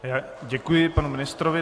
Děkuji panu ministrovi.